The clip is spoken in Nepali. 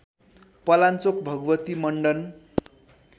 पलाञ्चोक भगवती मण्डन